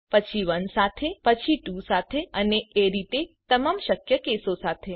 પછી 1 સાથે પછી 2 સાથે અને એ રીતે તમામ શક્ય કેસો સાથે